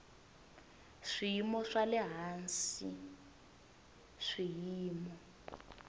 swiyimo swa le hansi swiyimo